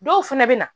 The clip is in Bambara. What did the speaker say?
Dɔw fɛnɛ bɛ na